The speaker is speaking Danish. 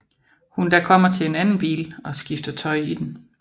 Hun da kommer til en anden bil og skifter tøj i den